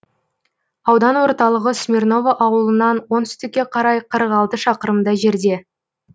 аудан орталығы смирново ауылынан оңтүстікке қарай қырық алты шақырымдай жерде